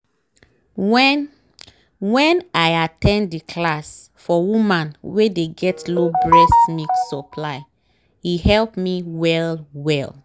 wen wen i at ten d the class for woman wey dey get low breast milk supply e help me well well